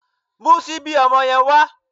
Mú síbí ọmọ yẹn wá